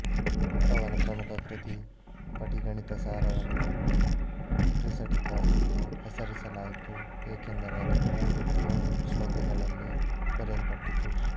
ಅವನ ಪ್ರಮುಖ ಕೃತಿ ಪಟಿಗಣಿತಸಾರವನ್ನು ಟ್ರಿಸಟಿಕ ಎಂದು ಹೆಸರಿಸಲಾಯಿತು ಏಕೆಂದರೆ ಅದು ಮೂರು ನೂರು ಸ್ಲೊಕಗಳಲ್ಲಿ ಬರೆಯಲ್ಪಟ್ಟಿತು